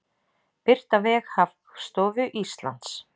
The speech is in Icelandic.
Birt á vef Hagstofu Íslands.